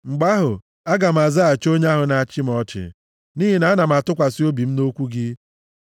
mgbe ahụ, aga m azaghachi onye ahụ na-achị m ọchị, nʼihi na ana m atụkwasị obi m nʼokwu gị.